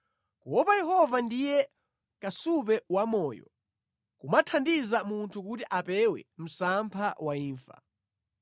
Kuopa Yehova ndiye kasupe wamoyo, kumathandiza munthu kuti apewe msampha wa imfa.